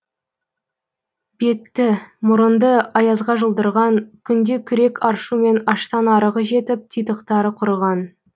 бетті мұрынды аязға жұлдырған күнде күрек аршумен аштан арығы жетіп титықтары құрыған